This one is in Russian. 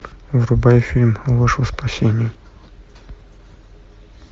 врубай фильм ложь во спасение